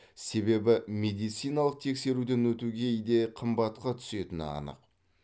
себебі медициналық тексеруден өту кейде қымбатқа түсетіні анық